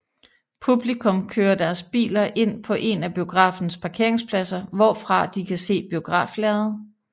Publikum kører deres biler ind på en af biografens parkeringspladser hvorfra de kan se biograflærredet